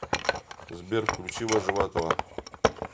сбер включи вожеватова